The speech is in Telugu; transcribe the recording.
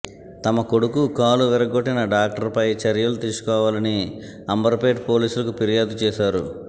తమ కొడుకు కాలు విరగ్గొట్టిన డాక్టర్పై చర్యలు తీసుకోవాలని అంబర్పేట్ పోలీసులకు ఫిర్యాదు చేశారు